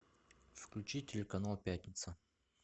включи телеканал пятница